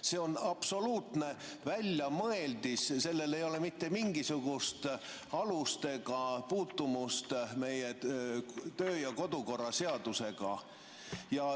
See on absoluutne väljamõeldis, sellel ei ole mitte mingisugust alust ega puutumust meie kodukorraseadusega.